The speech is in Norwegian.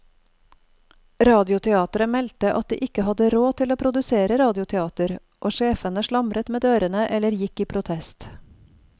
Radioteateret meldte at de ikke hadde råd til å produsere radioteater, og sjefene slamret med dørene eller gikk i protest.